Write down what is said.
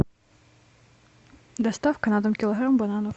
доставка на дом килограмм бананов